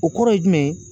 O kɔrɔ ye jumɛn ye